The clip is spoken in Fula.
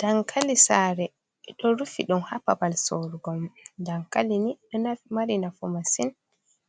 Dankali saare ɓe ɗo rufi ɗum haa babal sourugo mom .Dankali nii ɗo mari nafu masin,